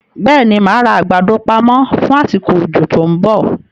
Bẹ́ẹ̀ni, máa ra àgbàdo pamọ fún asiko òjò tòun bọ̀